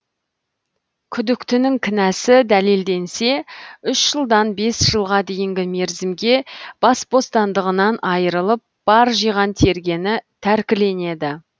күдіктінің кінәсі дәлелденсе үш жылдан бес жылға дейінгі мерзімге бас бостандығынан айырылып бар жиған тергені тәркіленеді